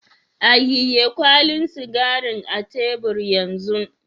Ayiye kwalin sigarin a tebur yan zun.